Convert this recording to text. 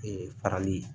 Ee farali ye